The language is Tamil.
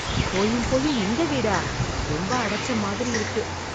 போயும் போயும் இந்த வீடா. ரொம்ப அடச்ச மாதிரி இருக்கு.